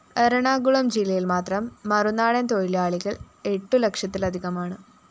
എറണാകുളം ജില്ലയില്‍ മാത്രം മറുനാടന്‍ തൊഴിലാളികള്‍ എട്ടുലക്ഷത്തിലധികമാണ്